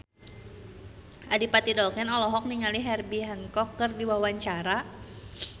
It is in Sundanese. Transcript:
Adipati Dolken olohok ningali Herbie Hancock keur diwawancara